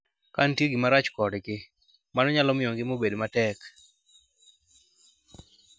Ka nitie gimoro marach kodgi, mano nyalo miyo ngima obed matek.